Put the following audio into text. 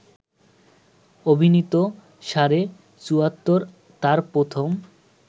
অভিনীত ‘সাড়ে চুয়াত্তর’ তার প্রথম